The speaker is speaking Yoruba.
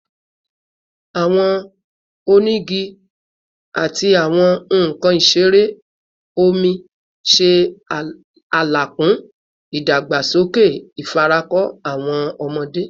Awọn onigi onigi ati awọn nkan isere omi ṣe alekun idagbasoke ifarako awọn ọmọde